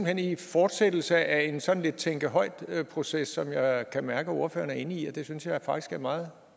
er en fortsættelse af en sådan lidt tænke højt proces som jeg kan mærke ordføreren er inde i og det synes jeg faktisk er meget